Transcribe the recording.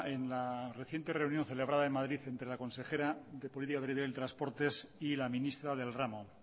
en la reciente reunión celebrada en madrid entre la consejera de política y medios de transportes y la ministra del ramo